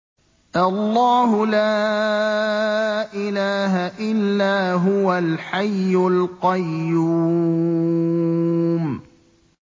اللَّهُ لَا إِلَٰهَ إِلَّا هُوَ الْحَيُّ الْقَيُّومُ